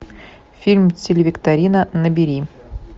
фильм телевикторина набери